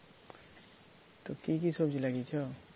তো কী কী সবজি লাগিয়েছো?